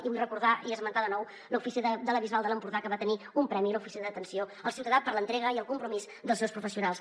i vull recordar i esmentar de nou l’oficina de la bisbal de l’empordà que va tenir un premi l’oficina d’atenció al ciutadà per l’entrega i el compromís dels seus professionals